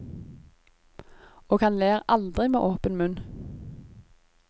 Og han ler aldri med åpen munn.